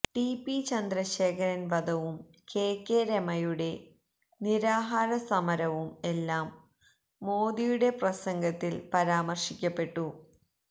TP ചന്ദ്രശേഖരന് വധവും KK രമയുടെ നിരാഹാര സമരവും എല്ലാം മോദിയുടെ പ്രസംഗത്തില് പരാമര്ശിക്കപ്പെട്ടു